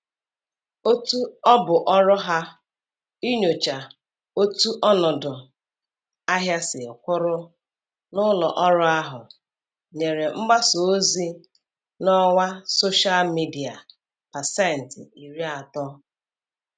Otu ọbụ ọrụ ha inyocha otu ọnọdụ ahịa siri kwụrụ n'ụlọ ọrụ ahụ nyere mgbasa ozi n'ọwa soshịal midia pasentị iri atọ